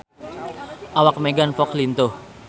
Awak Megan Fox lintuh